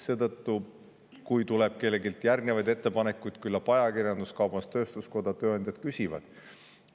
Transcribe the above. Seetõttu, kui tuleb kelleltki järgnevaid ettepanekuid, siis küllap ajakirjandus, kaubandus-tööstuskoda, tööandjad küsivad.